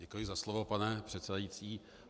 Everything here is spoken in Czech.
Děkuji za slovo, pane předsedající.